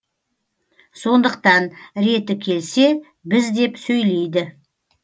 сондықтан реті келсе біз деп сөйлейді